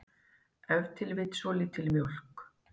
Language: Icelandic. ef til vill svolítil mjólk